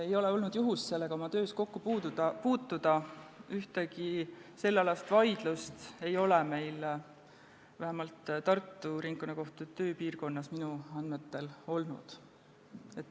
Ei ole olnud juhust sellega oma töös kokku puutuda, ühtegi sellealast vaidlust ei ole vähemalt Tartu Ringkonnakohtu tööpiirkonnas minu andmetel olnud.